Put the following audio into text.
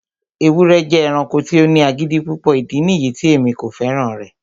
ewúrẹ jẹ ẹranko ti o ni agidi pupọ, idi niyi ti emi ko fẹran rẹ